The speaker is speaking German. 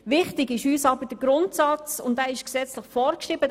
Wichtig ist uns aber der Grundsatz, und dieser ist gesetzlich vorgeschrieben.